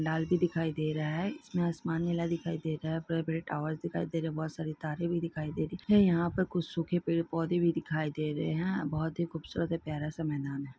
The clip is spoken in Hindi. लाल दिखाई दे रहा है इसमें आसमान नीला दिखाई दे रहा है बड़े-बड़े टॉवर दिखाई दे रहे है बहुत सारी तारे भी दिखाई दे रही और यहाँ पर कुछ सूखे पेड़ पौधे भी दिखाई दे रहे हैं यहाँ पर बहुत ही खूबसूरत सा प्यारा सा मैदान है।